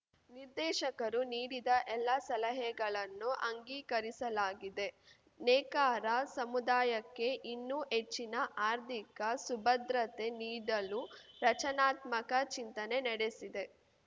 ನಿರ್ದೇಶಕರು ನೀಡಿದ ಎಲ್ಲ ಸಲಹೆಗಳನ್ನು ಅಂಗೀಕರಿಸಲಾಗಿದೆ ನೇಕಾರ ಸಮುದಾಯಕ್ಕೆ ಇನ್ನೂ ಹೆಚ್ಚಿನ ಆರ್ಥಿಕ ಸುಭ್ರತೆ ನೀಡಲು ರಚನಾತ್ಮಕ ಚಿಂತನೆ ನಡೆಸಿದೆ